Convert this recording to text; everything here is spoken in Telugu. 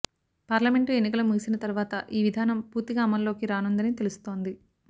పార్లమెంటు ఎన్నికలు ముగిసిన తర్వాత ఈ విధానం పూర్తిగా అమల్లోకి రానుందని తెలుస్తోంది